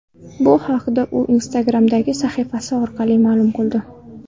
Bu haqda u Instagram’dagi sahifasi orqali ma’lum qildi .